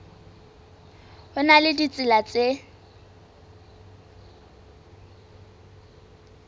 ho na le ditsela tse